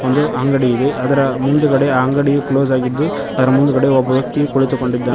ಒಂದು ಅಂಗಡಿ ಇದೆ ಅದರ ಮುಂದ್ಗಡೆ ಅಂಗಡಿಯು ಕ್ಲೋಸ್ ಆಗಿದ್ದು ಅದ್ರ್ ಮುಂದಗಡೆ ಒಬ್ಬ ವ್ಯಕ್ತಿಯು ಕುಳಿತುಕೊಂಡಿದ್ದಾ--